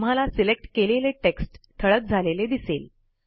तुम्हाला सिलेक्ट केलेले टेक्स्ट ठळक झालेले दिसेल